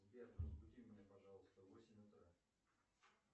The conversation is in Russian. сбер разбуди меня пожалуйста в восемь утра